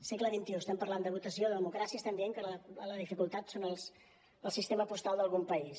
segle xxi estem parlant de votació de democràcia estem dient que la dificultat és el sistema postal d’algun país